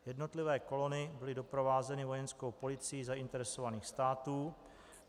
Jednotlivé kolony byly doprovázeny vojenskou policií zainteresovaných států.